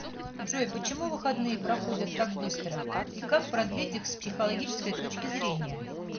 джой почему выходные проходят так быстро и как продлить их с психологической точки зрения